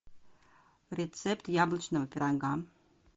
рецепт яблочного пирога